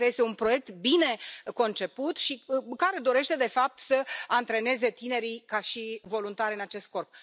Pentru că este un proiect bine conceput și care dorește, de fapt, să antreneze tinerii ca voluntari în acest scop.